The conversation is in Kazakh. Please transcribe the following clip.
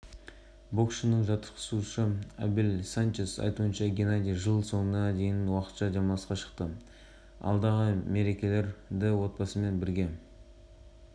орта салмақтағы әлем чемпионы геннадий головкин уақытша демалысқа шықты ол жаттығуын жылдың басында жалғастырады деп хабарлайды